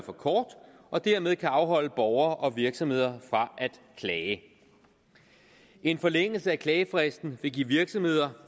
for kort og dermed kan afholde borgere og virksomheder fra at klage en forlængelse af klagefristen vil give virksomheder